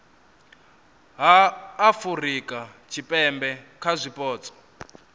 ha afurika tshipembe kha zwipotso